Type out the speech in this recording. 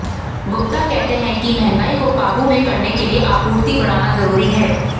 गुप्ता कहते हैं कि महंगाई को काबू में करने के लिए आपूर्ति बढ़ाना जरूरी है